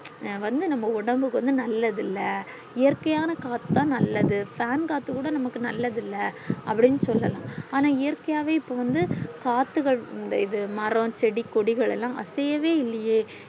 வந்து நம்ம ஒடம்புக்கு வந்து நல்லது இல்ல இயற்க்கை காத்து தான் நல்லது fan காத்து கூட நமக்கு நல்லது இல்ல அப்டின்னு சொல்லல்லா ஆனா இயற்க்கையாவே இப்போ வந்து காத்துகள் இந்த மாற செடி கொடிகள் எல்லாம் அசையவே இல்லியே